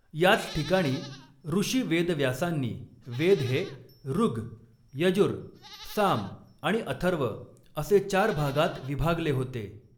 याच ठिकाणी ऋषी वेदव्यासांनी वेद हे ऋग्, यजुर्, साम आणि अथर्व असे चार भागांत विभागले होते.